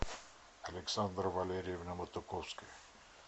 александра валерьевна матуковская